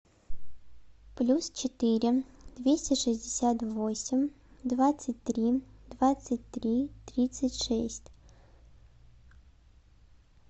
плюс четыре двести шестьдесят восемь двадцать три двадцать три тридцать шесть